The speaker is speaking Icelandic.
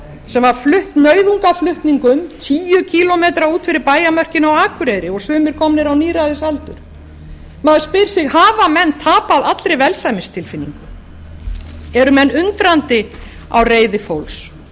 sem var flutt nauðungarflutningum tíu kílómetra út fyrir bæjarmörkin á akureyri og sumir komnir á níræðisaldur maður spyr sig hafa menn tapað allri velsæmistilfinningu eru menn undrandi á reiði fólks það er staðreynd